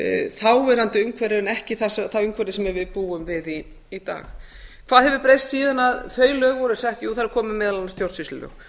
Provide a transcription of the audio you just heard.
þáverandi umhverfi en ekki það umhverfi sem við búum við í dag hvað hefur breyst síðan þau lög voru sett jú það eru komin meðal annars stjórnsýslulög